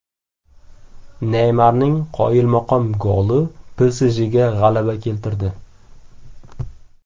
Neymarning qoyilmaqom goli PSJga g‘alaba keltirdi .